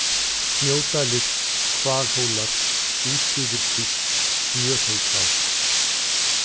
Snjódalir, Hvalhólar, Útsuðurskvísl, Smjörhólsá